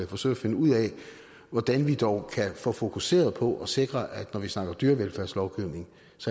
forsøge at finde ud af hvordan vi dog kan få fokuseret på at sikre at når vi snakker dyrevelfærdslovgivning